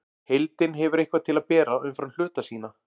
Heildin hefur eitthvað til að bera umfram hluta sína.